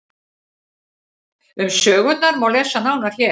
Um sögurnar má lesa nánar hér.